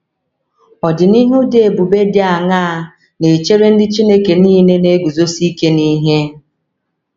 Ọdịnihu dị ebube dị aṅaa na - echere ndị Chineke nile na - eguzosi ike n’ihe?